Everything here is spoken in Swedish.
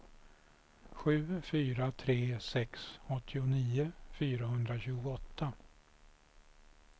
sju fyra tre sex åttionio fyrahundratjugoåtta